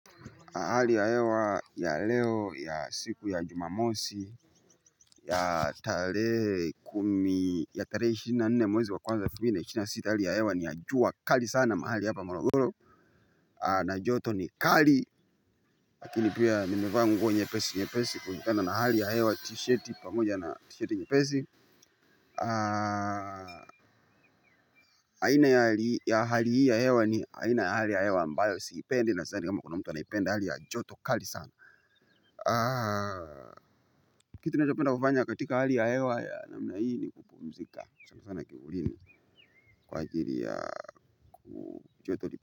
Hali ya hewa ya leo ya siku ya jumamosi. Ya tarehe kumi ya tarehe ishirini na nne mwezi wa kwanza elfu mbili na ishirini na sita hali ya hewa ni ya jua kali sana mahali hapa molodoro. Na joto ni kali. Lakini pia nimevaa nguo nyepesi nyepesi kulingana na hali ya hewa tisheti pamoja na tisheti nyepesi. Aina ya hali hii ya hewa ni haina ya hali ya hewa ambayo siipendi na sidhani kama kuna mtu anaipende hali ya joto kali sana. Kitu ninapenda kufanya katika hali ya hewa ya namna hii ni kupumzika sana sana kivulini. Kwa ajiri ya ku choto li.